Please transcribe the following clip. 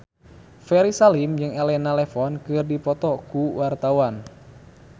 Ferry Salim jeung Elena Levon keur dipoto ku wartawan